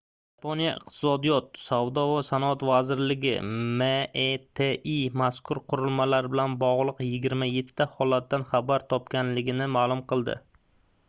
yaponiya iqtisodiyot savdo va sanoat vazirligi meti mazkur qurilmalar bilan bog'liq 27 ta holatdan xabar topganini ma'lum qildi